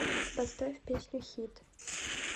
поставь песню хит